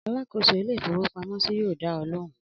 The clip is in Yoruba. Alákòóso ilé-ìfowópamọ́sí yóò dá ọ lóhùn!